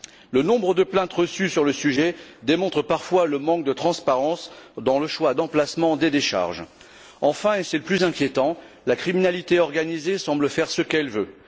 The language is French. Le nombre de plaintes reçues sur le sujet démontre parfois le manque de transparence dans le choix d'emplacement des décharges. Enfin, et c'est le plus inquiétant, la criminalité organisée semble faire ce qu'elle veut.